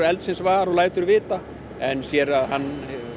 eldsins var og lætur vita en sér að hann